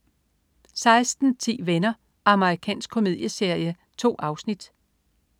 16.10 Venner. Amerikansk komedieserie. 2 afsnit